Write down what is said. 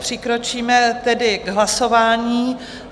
Přikročíme tedy k hlasování.